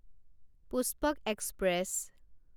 Pushpak express